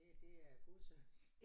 Det det er god service